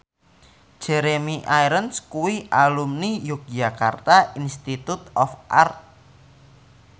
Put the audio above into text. Jeremy Irons kuwi alumni Yogyakarta Institute of Art